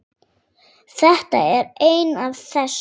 Þetta er ein af þess